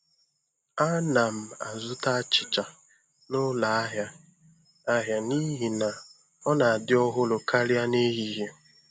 Ana m azụta achịcha n'ụlọ ahịa ahịa n'ihi na ọ na-adị ọhụrụ karịa n'ehihie.